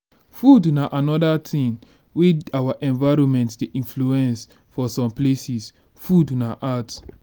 food na anoda thing wey our environment dey influence for some places food na art